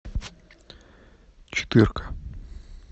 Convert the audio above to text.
четырка